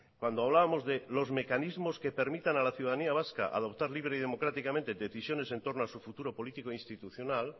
cuando hablábamos de los mecanismos que permitan a la ciudadanía vasca a adoptar libre y democráticamente decisiones en torno a su futuro político e institucional